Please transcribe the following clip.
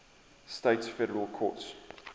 states federal courts